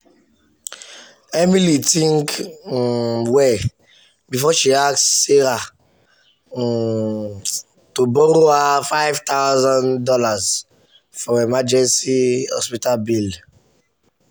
emily think um well before she ask sarah um to borrow her five thousand dollars for emergency hospital bill. um